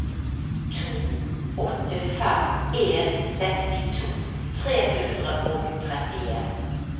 to åtte fem en sekstito tre hundre og trettien